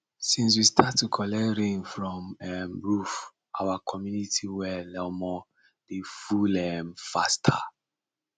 since we start to collect rain from um roof our community well um dey full um faster